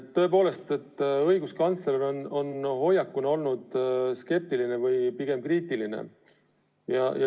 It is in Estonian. Tõepoolest, õiguskantsleri hoiak on skeptiline või pigem kriitiline.